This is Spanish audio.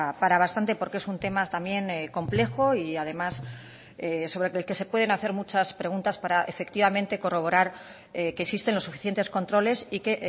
para bastante porque es un tema también complejo y además sobre el que se pueden hacer muchas preguntas para efectivamente corroborar que existen los suficientes controles y que